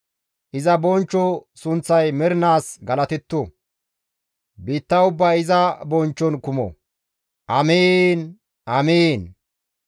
Iza bonchcho sunththay mernaas galatetto; biitta ubbay iza bonchchon kumo. Amiin! Amiin!